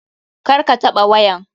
Kar ka taɓa wayan.